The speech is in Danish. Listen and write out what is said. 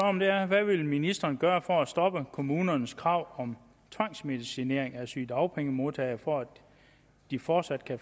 om er hvad vil ministeren gøre for at stoppe kommunernes krav om tvangsmedicinering af sygedagpengemodtagere for at de fortsat kan